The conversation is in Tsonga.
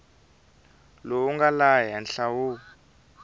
lowu nga laha henhla wu